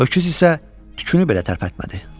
Öküz isə tükünü belə tərpətmədi.